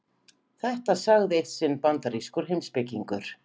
Þetta sagði eitt sinn bandarískur heimspekingur.